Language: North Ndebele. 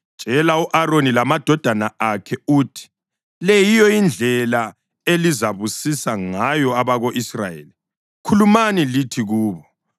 “Tshela u-Aroni lamadodana akhe uthi, ‘Le yiyo indlela elizabusisa ngayo abako-Israyeli. Khulumani lithi kubo: